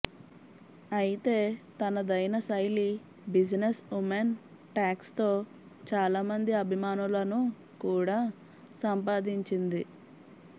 అయితే తనదైన శైలి బిజినెస్ ఉమెన్ టాక్స్ తో చాలామంది అభిమానులను కూడా సంపాదించింది